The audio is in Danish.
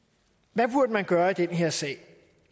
hvad burde man gøre i den her sag